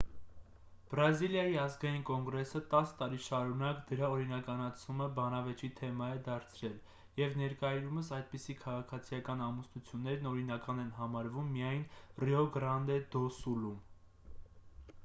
բրազիլիայի ազգային կոնգրեսը 10 տարի շարունակ դրա օրինականացումը բանավեճի թեմա է դարձրել և ներկայումս այդպիսի քաղաքացիական ամուսնություններն օրինական են համարվում միայն ռիո գրանդե դո սուլում